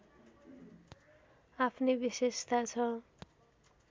आफ्नै विशेषता छ